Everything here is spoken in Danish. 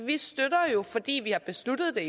vi støtter jo fordi vi har besluttet